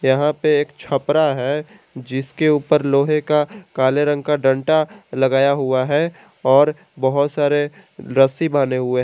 यहां पे एक छपरा है जिसके ऊपर लोहे का काले रंग का डंटा लगाया हुआ है और बहोत सारे रस्सी बान्हे हुए--